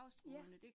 Ja